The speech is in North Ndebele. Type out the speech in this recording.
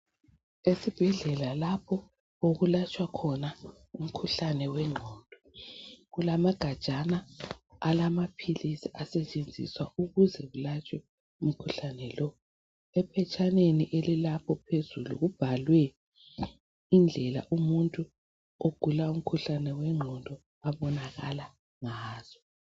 Esibhedlela lapho okulatshwa khona umkhuhlane wengqondo. Kulamagajana alamaphilisi asetshenziswa ukuze kulatshwe umkhuhlane lowu. Ephetshaneni elilapho phezulu kubhaliwe indlela umuntu ogula umkhuhlane wegqondo obonakala ngazo.